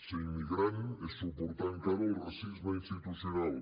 ser immigrant és suportar encara el racisme institucional